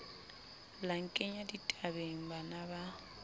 la nkenya ditabeng bana ba